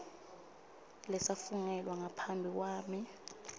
lesafungelwa ngaphambi kwami